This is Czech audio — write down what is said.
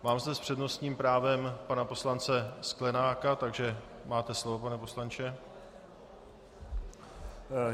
Mám zde s přednostním právem pana poslance Sklenáka, takže máte slovo, pane poslanče.